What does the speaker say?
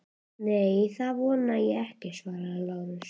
Nei, það vona ég ekki, svaraði Lárus.